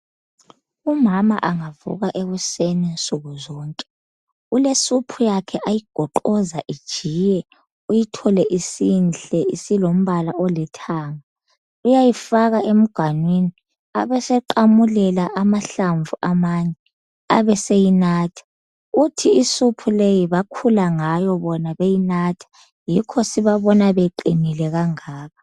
Umama angavuka ekuseni nsukuzonke ulesoup yakhe ayigoqoza ijiye uyithole isinhle isilombala olithanga. Uyayifaka emganwini abeseqamulela amahlamvu amane abeseyinatha. Uthi isoup leyi bakhula ngayo bona beyinatha yikho sibabona beqinile kangaka.